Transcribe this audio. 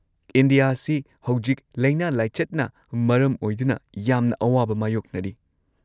ꯏꯟꯗꯤꯌꯥꯁꯤ ꯍꯧꯖꯤꯛ ꯂꯩꯅꯥ ꯂꯥꯏꯆꯠꯅ ꯃꯔꯝ ꯑꯣꯢꯗꯨꯅ ꯌꯥꯝꯅ ꯑꯋꯥꯕ ꯃꯥꯌꯣꯛꯅꯔꯤ꯫